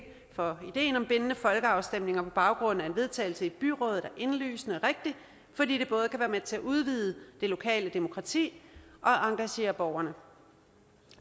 for ideen om bindende folkeafstemninger på baggrund af en vedtagelse i byrådet er indlysende og med til at udvide det lokale demokrati og engagere borgerne